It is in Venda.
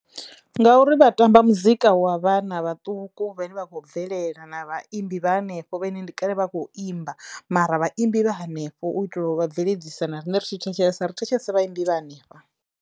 Ngauri vha tamba muzika wa vhanna vhaṱuku vhane vha khou bvelela na vhaimbi vha hanefho vhane ndi kale vha a kho imba mara vhaimbi vha hanefho u itela u vha bveledzisa na riṋe ri tshi thetshelesa ri thetshelesa vhaimbi vha hanefha.